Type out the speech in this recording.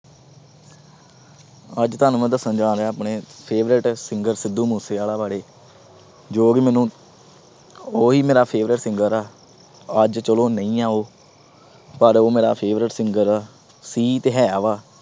ਅੱਜ ਤੁਹਾਨੂੰ ਮੈਂ ਦੱਸਣ ਜਾ ਰਿਹਾਂ ਆਪਣੇ favourite singer ਸਿੱਧੂ ਮੂਸੇਵਾਲਾ ਬਾਰੇ, ਜੋ ਵੀ ਮੈਨੂੰ ਉਹੀ ਮੇਰਾ favourite singer ਆ, ਅੱਜ ਚਲੋ ਨਹੀਂ ਹੈ ਉਹ, ਪਰ ਉਹ ਮੇਰਾ favourite singer ਆ, ਸੀ ਤੇ ਹੈ ਵਾ।